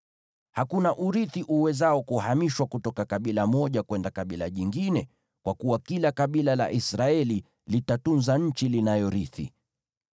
Hakuna urithi uwezao kuhamishwa kutoka kabila moja kwenda kabila jingine, kwa kuwa kila kabila la Israeli litatunza nchi linayorithi.”